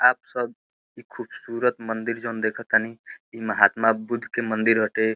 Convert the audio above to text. आप सब ई खुबसूरत मंदिर जौन देखतानी ई महात्मा बुद्ध के मंदिर हटे।